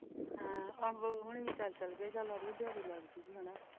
ਹਾਂ ਹੋਣੀ ਚੱਲ ਅੱਜ ਦਿਹਾੜੀ ਲੱਗ ਜਾਉਗੀ ਹੇਨਾ।